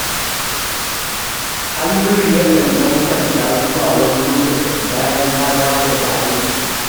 Halliru yakan ɗan kwanta zuwa wani lokaci bayan ya dawo daga aiki